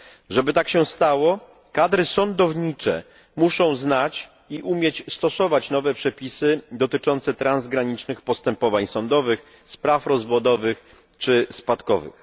Żeby tak się stało, kadry sądownicze muszą znać i umieć stosować nowe przepisy dotyczące transgranicznych postępowań sądowych, spraw rozwodowych czy spadkowych.